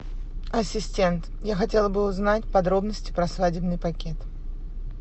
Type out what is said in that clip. ассистент я хотела бы узнать подробности про свадебный пакет